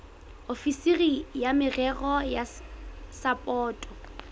ofisiri ya merero ya sapoto